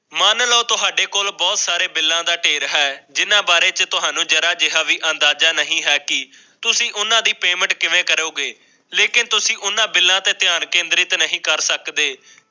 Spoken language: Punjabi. ਮੰਨ ਲਓ ਤੁਹਾਡੇ ਕੋਲ ਬਹੁਤ ਸਾਰੇ ਬਿਲਾਂ ਦਾ ਢੇਰ ਹੈ ਜਿਨ੍ਹਾਂ ਬਾਰੇ ਚ ਤੁਹਾਨੂੰ ਜ਼ਰਾ ਜਿਯਾ ਵੀ ਅੰਦਾਜ਼ਾ ਨਹੀਂ ਹੈ ਕਿ ਤੁਸੀਂ ਉਹਨਾਂ ਦੀ ਪੇਮੈਂਟ ਕਿਵੇਂ ਕਰੋਗੇ ਲੇਕਿਨ ਤੁਸੀਂ ਓਹਨਾ ਬਿੱਲਾਂ ਤੇ ਧਿਆਨ ਕੇਂਦਰਿਤ ਨਹੀ ਕਰ ਸਕਦੇ